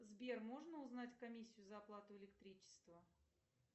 сбер можно узнать комиссию за оплату электричества